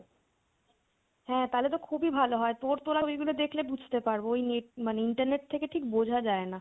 হ্যাঁ তাহলে তো খুবই ভালো হয়। তোর তোলা ঐগুলো দেখলে বুজতে পারবো। ওই net মানে internet থেকে ঠিক বোঝা যায় না